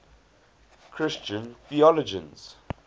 christian theologians